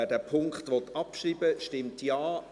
Wer diesen Punkt abschreiben möchte, stimmt Ja,